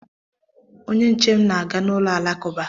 Onye nche m na-aga na ụlọ alakụba.